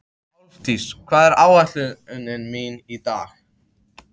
Álfdís, hvað er á áætluninni minni í dag?